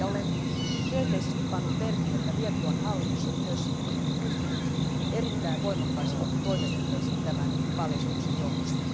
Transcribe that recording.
Olen tyytyväisenä pannut merkille, että Liettuan hallitus on ryhtynyt erittäin voimakkaisiin toimenpiteisiin tämän paljastuksen johdosta.